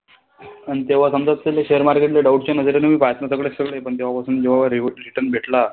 अन तेव्हा समजा share market ले पण तेव्हापासून भेटला,